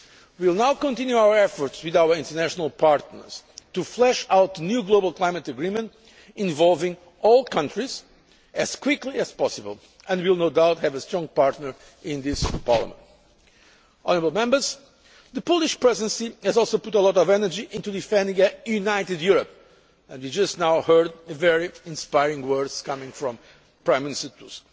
We will now continue our efforts with our international partners to flesh out a new global climate agreement involving all countries as quickly as possible, and we will no doubt have a strong partner in this Parliament. The Polish Presidency has also put a lot of energy into defending a united Europe, and you have just heard the inspiring words of Prime Minister Tusk.